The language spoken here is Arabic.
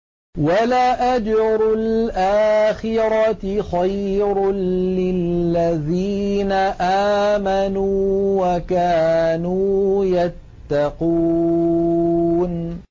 وَلَأَجْرُ الْآخِرَةِ خَيْرٌ لِّلَّذِينَ آمَنُوا وَكَانُوا يَتَّقُونَ